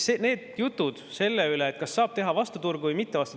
On jutud selle kohta, kas saab teha vastu turgu või mitte.